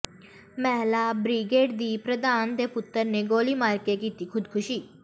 ਮਹਿਲਾ ਬ੍ਰਿਗੇਡ ਦੀ ਪ੍ਰਧਾਨ ਦੇ ਪੁੱਤਰ ਨੇ ਗੋਲੀ ਮਾਰ ਕੇ ਕੀਤੀ ਖੁਦਕੁਸ਼ੀ